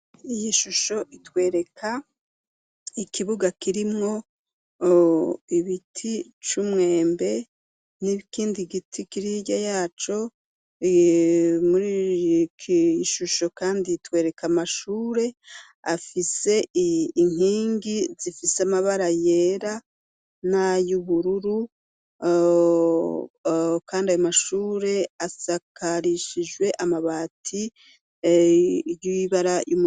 Iyi shusho itwereka ikibuga kirimwo ibiti c'umwembe n'ikindi giti kiri hirya yaco muriki gishusho kandi itwereka amashure afise inkingi zifise amabara yera n'ayubururu kandi aya mashure asakarishijwe amabati y'ibara.